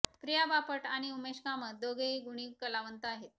प्रिया बापट आणि उमेश कामत दोघेही गुणी कलावंत आहेत